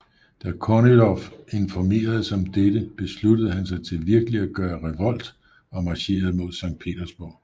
Da Kornilov informeredes om dette besluttede han sig til virkeligt at gøre revolt og marcherede mod Sankt Petersburg